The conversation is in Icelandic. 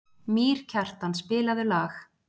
Mýrkjartan, spilaðu lag.